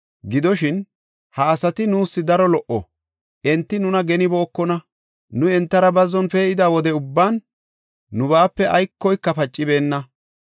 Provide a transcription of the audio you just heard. Gidoshin, ha asati nuus daro lo77o; enti nuna genibookona; nuuni entara bazzon pee7ida wode ubban nubaape aykoyka pacibeenna.